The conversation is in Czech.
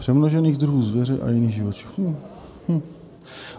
Přemnožených druhů zvěře a jiných živočichů.